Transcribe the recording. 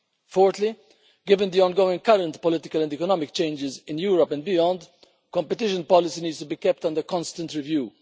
Fourthly, given the ongoing current political and economic changes in Europe and beyond, competition policy needs to be kept under constant review.